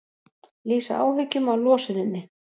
Lýsa áhyggjum af losuninni